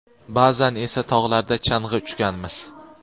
ba’zan esa tog‘larda chang‘i uchganmiz.